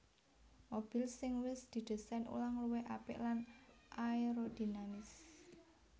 Mobil sing wis didésain ulang luwih apik lan aerodinamis